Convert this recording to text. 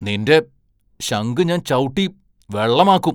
നിന്റെ ശങ്ക് ഞാൻ ചവുട്ടി വെള്ളമാക്കും.